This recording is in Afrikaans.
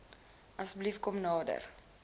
asseblief kom nader